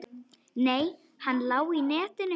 Nei, hann lá í netinu.